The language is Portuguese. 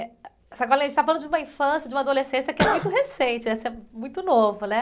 Eh, a gente está falando de uma infância, de uma adolescência que é muito recente, essa... Muito novo, né?